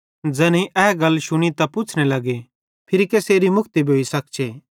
ज़ैनेईं ए गल शुनी त तैना पुच्छ़ने लगे फिरी कसेरी मुक्ति भोइ सख्चे